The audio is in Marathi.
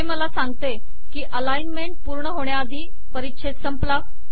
हे मला असे सांगते की अलाइनमेंट पूर्ण होण्याआधी परिच्छेद संपला